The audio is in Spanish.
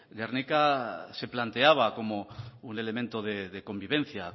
gernika se planteaba como un elemento de convivencia